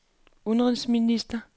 udenrigsminister